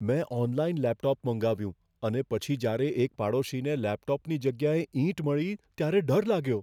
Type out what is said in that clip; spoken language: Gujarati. મેં ઓનલાઇન લેપટોપ મંગાવ્યું અને પછી જ્યારે એક પાડોશીને લેપટોપની જગ્યાએ ઈંટ મળી, ત્યારે ડર લાગ્યો.